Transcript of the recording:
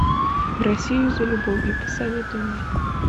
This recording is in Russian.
в россию за любовью посоветуй мне